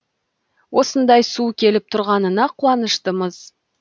осындай су келіп тұрғанына қуаныштымыз